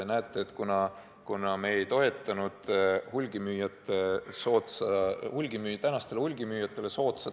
Meie ju ei toetanud praegustele hulgimüüjatele soodsat eelnõu ja see kukkus eile läbi.